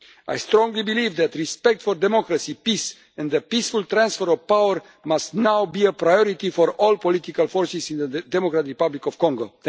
I strongly believe that respect for democracy, peace and the peaceful transfer of power must now be a priority for all political forces in the Democratic Republic of Congo.